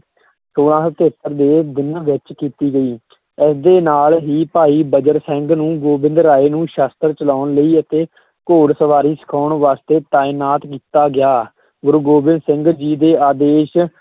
ਛੋਲਾਂ ਸੌ ਤਹੇਤਰ ਦੇ ਦਿਨ ਵਿੱਚ ਕੀਤੀ ਗਈ ਇਸ ਦੇ ਨਾਲ ਹੀ ਭਾਈ ਬਜਰ ਸਿੰਘ ਨੂੰ ਗੋਬਿੰਦ ਰਾਇ ਨੂੰ ਸ਼ਸਤਰ ਚਲਾਉਣ ਲਈ ਅਤੇ ਘੋੜ ਸਵਾਰੀ ਸਿਖਾਉਣ ਵਾਸਤੇ ਤਾਇਨਾਤ ਕੀਤਾ ਗਿਆ, ਗੁਰੂ ਗੋਬਿੰਦ ਸਿੰਘ ਜੀ ਦੇ ਆਦੇਸ਼